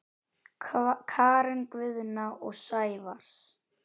Karen Guðna og Sævars